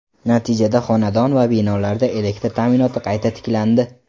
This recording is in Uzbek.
Natijada xonadon va binolarda elektr ta’minoti qayta tiklandi.